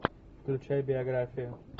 включай биографию